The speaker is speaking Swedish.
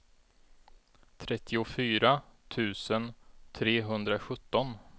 trettiofyra tusen trehundrasjutton